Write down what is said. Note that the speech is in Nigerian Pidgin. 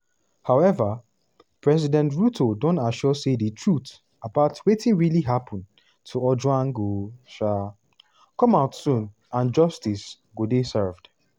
however president ruto don assure say di truth about wetin really happun to ojwang go um come out soon and justice go dey served.